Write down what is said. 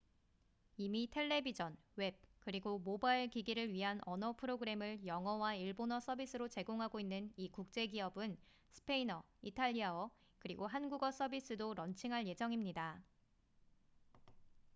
이미 텔레비전 웹 그리고 모바일 기기를 위한 언어 프로그램을 영어와 일본어 서비스로 제공하고 있는 이 국제 기업은 스페인어 이탈리아어 그리고 한국어 서비스도 런칭할 예정입니다